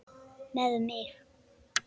Með mig?